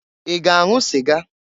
I ga-anwụ sịga?